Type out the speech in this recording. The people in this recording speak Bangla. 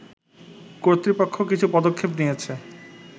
কর্তৃপক্ষ কিছু পদক্ষেপ নিয়েছে